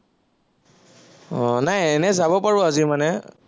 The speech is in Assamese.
আহ নাই এনেই যাব পাৰো আজি মানে